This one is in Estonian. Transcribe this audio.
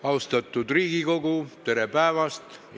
Austatud Riigikogu, tere päevast!